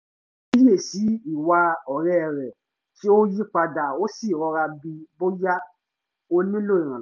ó kíyè sí i ìwà ọ̀rẹ́ rẹ̀ tí ó yí padà ó sì rọra bií bóyá ó nílò ìrànlọ́wọ́